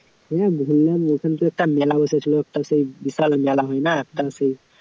হ্যাঁ ঘুরলাম ওখানে তো একটা মেলা বসেছিল একটা সেই বিশাল মেলা হয় না? একটা সেই